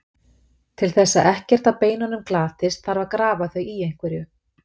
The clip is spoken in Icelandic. Til þess að ekkert af beinunum glatist þarf að grafa þau í einhverju.